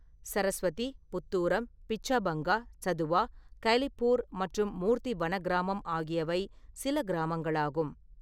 சர்ஸ்வதி, புத்தூரம், பிச்சாபங்கா, சதுவா, கைலிப்பூர் மற்றும் மூர்த்தி வன கிராமம் ஆகியவை சில கிராமங்களாகும்.